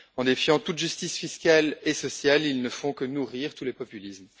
En défiant toute justice fiscale et sociale, ils ne font que nourrir tous les populismes.